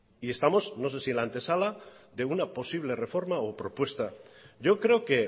y estamos no sé si en la antesala de una posible reforma o propuesta yo creo que